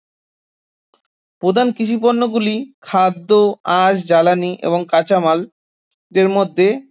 প্রধান কৃষি পণ্য গুলি খাদ্য, আঁশ, জ্বালানি এবং কাঁচামাল এর মধ্যে